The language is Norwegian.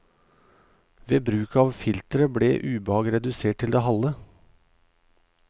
Ved bruk at filteret ble ubehag redusert til det halve.